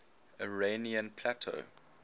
iranian plateau